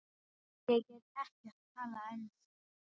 Ég get ekkert talað ensku.